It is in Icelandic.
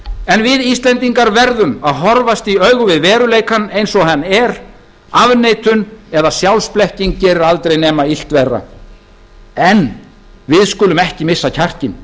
en við íslendingar verðum að horfast í augu við veruleikann eins og hann er afneitun eða sjálfsblekking gerir aldrei nema illt verra en við skulum aldrei missa kjarkinn